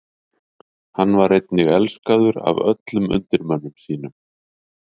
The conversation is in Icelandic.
Hann var einnig elskaður af öllum undirmönnum sínum.